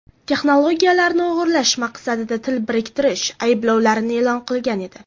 texnologiyalarini o‘g‘irlash maqsadida til biriktirish ayblovlarini e’lon qilgan edi.